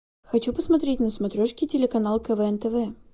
хочу посмотреть на смотрешке телеканал квн тв